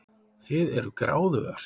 Þið eruð gráðugar.